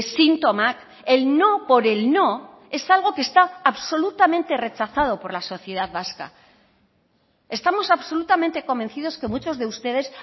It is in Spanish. sintomak el no por el no es algo que está absolutamente rechazado por la sociedad vasca estamos absolutamente convencidos que muchos de ustedes